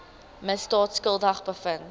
misdaad skuldig bevind